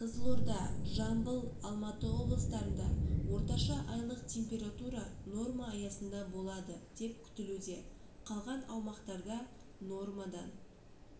қызылорда жамбыл алматы облыстарында орташа айлық температура норма аясында болады деп күтілуде қалған аумақтарда нормадан